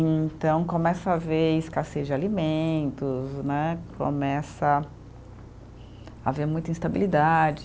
E então, começa a haver escassez de alimentos né, começa a haver muita instabilidade.